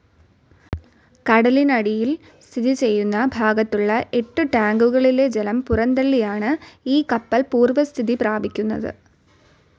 കടലിനടിയിൽ സ്ഥിതിചെയ്യുന്ന ഭാഗത്തുളള എട്ട് ടാങ്കുകളിലെ ജലം പുറന്തളളിയാണ് ഈ കപ്പൽ പൂർവസ്ഥിതി പ്രാപിക്കുന്നത്.